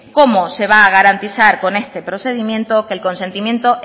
cómo se va a garantizar con este procedimiento que el consentimiento